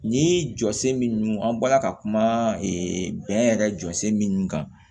Ni jɔsen min an bɔla ka kuma bɛn yɛrɛ jɔ sen min kan